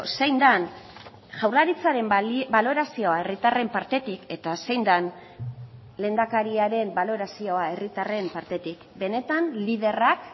zein den jaurlaritzaren balorazioa herritarren partetik eta zein den lehendakariaren balorazioa herritarren partetik benetan liderrak